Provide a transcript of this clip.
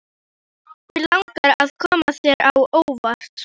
Mig langaði að koma þér á óvart.